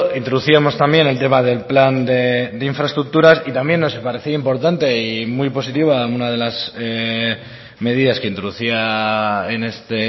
introducíamos también el tema del plan de infraestructuras y también nos parecía importante y muy positiva una de las medidas que introducía en este